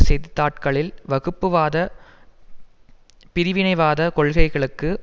செய்தித்தாட்களில் வகுப்புவாத பிரிவினைவாத கொள்கைகளுக்கு